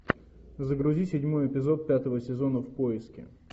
загрузи седьмой эпизод пятого сезона в поиске